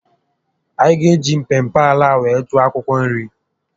A gá eji mpempe ala a were kụọ akwụkwọ nri